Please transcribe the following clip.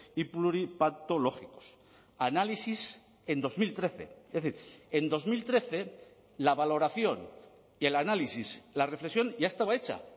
y pluripatológicos análisis en dos mil trece es decir en dos mil trece la valoración y el análisis la reflexión ya estaba hecha